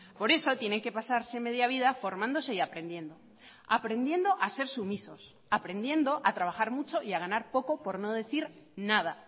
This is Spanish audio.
por eso tienen que pasarse media vida formándose y aprendiendo aprendiendo a ser sumisos aprendiendo a trabajar mucho y a ganar poco por no decir nada